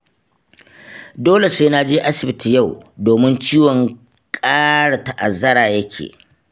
Dole sai na je asibiti yau, domin ciwon ƙara ta'azzara ya ke.